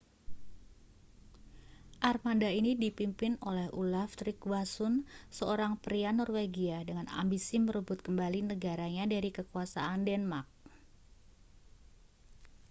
armada ini dipimpin oleh olaf trygvasson seorang pria norwegia dengan ambisi merebut kembali negaranya dari kekuasaan denmark